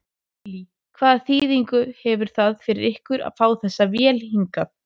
Lillý: Hvaða þýðingu hefur það fyrir ykkur að fá þessa vél hingað?